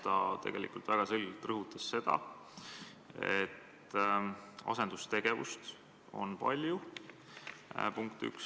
Ta tegelikult väga selgelt rõhutas seda, et asendustegevust on palju – punkt 1.